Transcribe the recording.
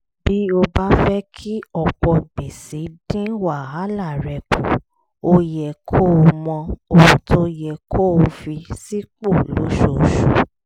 bí o bá fẹ́ kí ọ̀pọ̀ gbèsè dín wàhálà rẹ kù ó yẹ kó o mọ ohun tó yẹ kó o fi sípò lóṣooṣù